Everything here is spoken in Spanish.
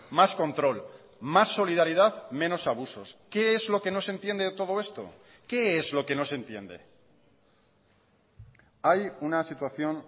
más control más solidaridad menos abusos qué es lo que no se entiende de todo esto qué es lo que no se entiende hay una situación